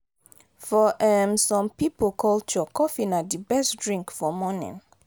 for um some pipo culture coffee na di best drink for morning